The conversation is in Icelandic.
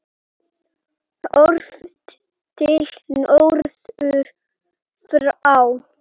Horft til norðurs frá